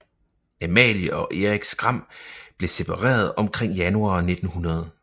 Amalie og Erik Skram blev separeret omkring januar 1900